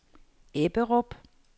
Ebberup